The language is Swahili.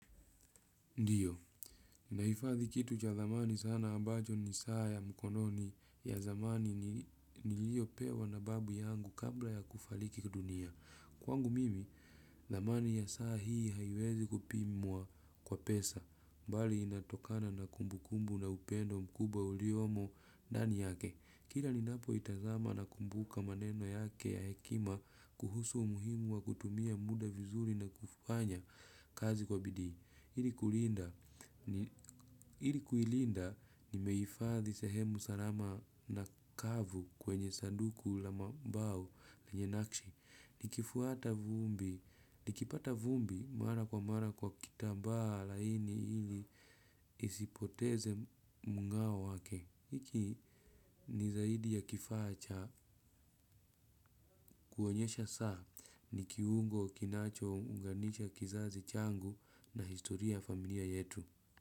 Ndiyo, nahifadhi kitu cha dhamani sana ambacho ni saa ya mkononi ya zamani niliyopewa na babu yangu kabla ya kufariki dunia. Kwangu mimi, dhamani ya saa hii haiwezi kupimwa kwa pesa, mbali inatokana na kumbu kumbu na upendo mkubwa uliomo dani yake. Kila ninapo itazama nakumbuka maneno yake ya hekima kuhusu umuhimu wa kutumia muda vizuri na kufanya kazi kwa bidii. Ili kuilinda nimehifadhi sehemu salama na kavu kwenye saduku la ma mbao lenye nakshi. Ikifuata vumbi, likipata vumbi mara kwa mara kwa kitambaa laini ili isipoteze mung'ao wake. Iki ni zaidi ya kifaa cha kuonyesha saa ni kiungo kinachounganisha kizazi changu na historia ya familia yetu.